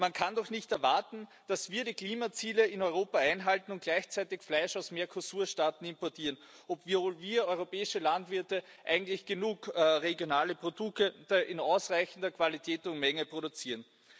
Man kann doch nicht erwarten, dass wir die Klimaziele in Europa einhalten und gleichzeitig Fleisch aus Mercosur Staaten importieren, obwohl wir europäische Landwirte eigentlich genug regionale Produkte in ausreichender Qualität und Menge produzieren.